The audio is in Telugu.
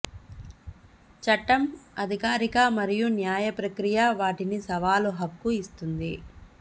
చట్టం అధికారిక మరియు న్యాయ ప్రక్రియ వాటిని సవాలు హక్కు ఇస్తుంది